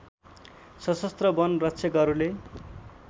सशस्त्र वन रक्षकहरूले